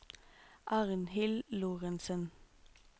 Arnhild Lorentzen